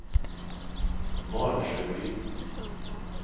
Valsjöbyn